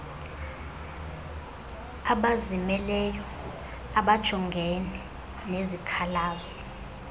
abazimeleyo abajongene nezikhalazo